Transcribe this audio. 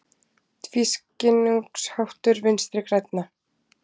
Tvískinnungsháttur Vinstri grænna